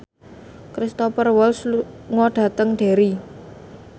Cristhoper Waltz lunga dhateng Derry